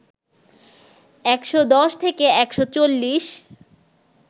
১১০থেকে ১৪০